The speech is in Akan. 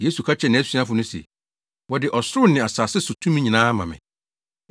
Yesu ka kyerɛɛ nʼasuafo no se, “Wɔde ɔsoro ne asase so tumi nyinaa ama me.